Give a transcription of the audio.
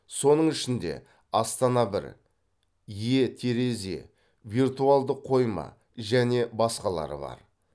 соның ішінде астана бір е терезе виртуалдық қойма және басқалары бар